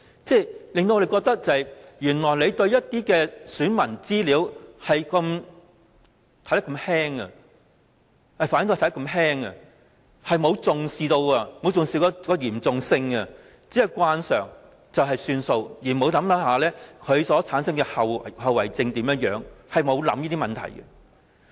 這令我們覺得原來政府對選民資料看得如此輕，並沒有重視其嚴重性，只是慣常做法便算，而沒有考慮會產生怎樣的後遺症，並沒有考慮這些問題。